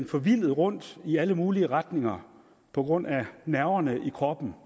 forvildet rundt i alle mulige retninger på grund af nerverne i kroppen